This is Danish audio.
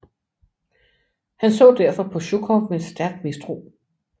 Han så derfor på Sjukov med stærk mistro